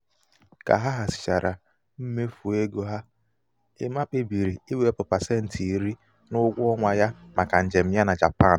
ka ha hazichara hazichara mmefu égo ha ema kpebiri iwepụ pasenti iri n'ụgwọ ọnwa ya maka njem ya na japan.